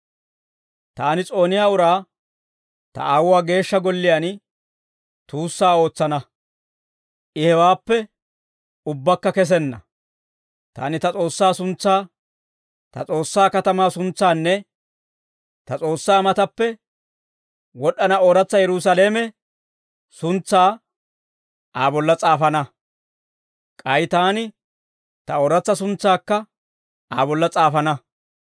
Taani s'ooniyaa uraa ta Aawuwaa Geeshsha Golliyaan tuussaa ootsana; I hewaappe ubbaakka kessenna. Taani ta S'oossaa suntsaa, ta S'oossaa katamaa suntsaanne ta S'oossaa mataappe wod'd'ana ooratsa Yerusaalame suntsaa Aa bolla s'aafana. K'ay taani ta ooratsa suntsaakka Aa bolla s'aafana.